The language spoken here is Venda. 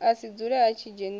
a si dzule a dzhenisa